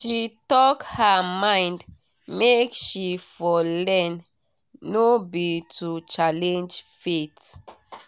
she talk her mind make she for learn no be to challenge faith